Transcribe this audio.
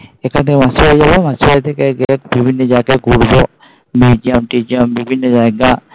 এখান থেকে মাসিরবাড়ি যাবো মাসিরবাড়ি থেকে বিভিন্ন জায়গায় ঘুরবো Museum টিউজিয়াম বিভিন্ন জায়গা